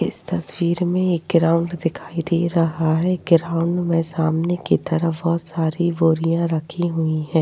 इस तस्वीर मे एक ग्राउन्ड दिखाई दे रहा है। ग्राउन्ड मे सामने की तरफ बहुत सारी बोरियाँ रखी हुई हैं।